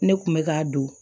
Ne kun bɛ k'a don